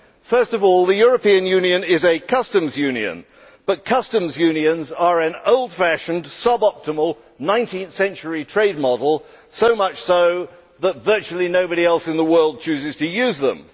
First of all, the European Union is a customs union, but customs unions are an old fashioned sub optimal 19th century trade model, so much so that virtually nobody else in the world chooses to use them.